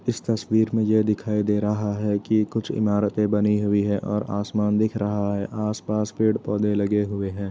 इस तस्वीर में ये दिखाई दे रहा है कि कुछ इमारतें बनी हुई है और आसमान दिख रहा है आस पास पेड़ पौधे लगे हुए हैं।